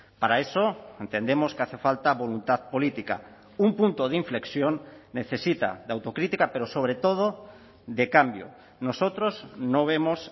para eso entendemos que hace falta voluntad política un punto de inflexión necesita de autocrítica pero sobre todo de cambio nosotros no vemos